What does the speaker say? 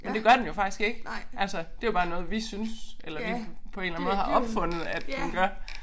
Men det gør den jo faktisk ikke altså det jo bare noget vi synes eller vi på en eller anden måde har opfundet at den gør